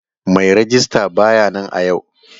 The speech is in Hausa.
Mai rejista ba ya nan a yau.